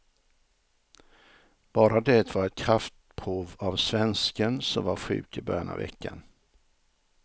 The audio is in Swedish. Bara det var ett kraftprov av svensken, som var sjuk i början av veckan.